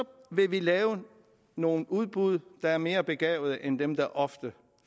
vil vi lave nogle udbud der er mere begavede end dem der ofte